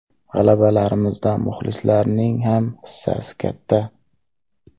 G‘alabalarimizda muxlislarning ham hissasi katta”.